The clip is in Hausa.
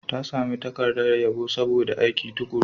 Ta sami takardar yabo saboda aikin tuƙuru.